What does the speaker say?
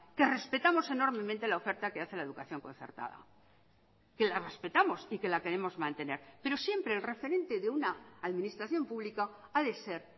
que respetamos enormemente la oferta que hace la educación concertada que la respetamos y que la queremos mantener pero siempre el referente de una administración pública ha de ser